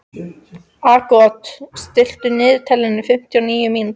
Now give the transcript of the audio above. Aagot, stilltu niðurteljara á fimmtíu og níu mínútur.